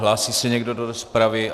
Hlásí se někdo do rozpravy?